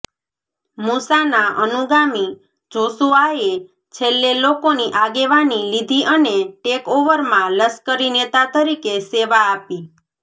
મુસાના અનુગામી જોશુઆએ છેલ્લે લોકોની આગેવાની લીધી અને ટેકઓવરમાં લશ્કરી નેતા તરીકે સેવા આપી